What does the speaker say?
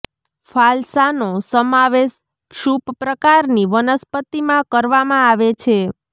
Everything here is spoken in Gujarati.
ફાલસા નો સમાવેશ ક્ષુપ પ્રકાર ની વનસ્પતીમાં કરવામાં આવે છે